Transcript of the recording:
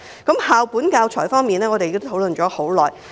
在校本教材方面，我們已討論良久。